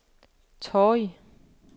Torrig